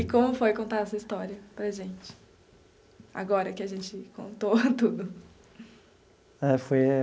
E como foi contar essa história para a gente, agora que a gente contou tudo? É, foi.